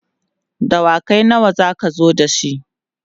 dawakai nawa zaka zo da shi?